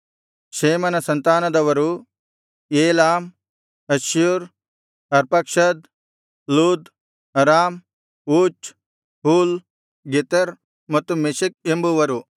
ಶೇಮನ ಸಂತಾನದವರು Elam Asshur Arphaxad Lud Aram Uz Hul Gether ಮತ್ತು Meshech ಎಂಬುವರು